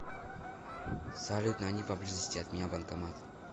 салют найди поблизости от меня банкомат